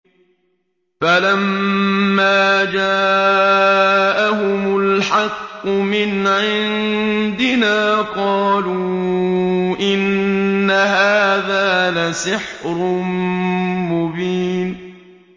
فَلَمَّا جَاءَهُمُ الْحَقُّ مِنْ عِندِنَا قَالُوا إِنَّ هَٰذَا لَسِحْرٌ مُّبِينٌ